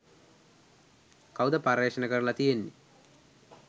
කවුද පර්යේෂණ කරල තියෙන්නෙ.